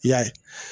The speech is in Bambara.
I y'a ye